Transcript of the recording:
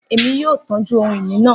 Emi yoo tọju ohun-ini naa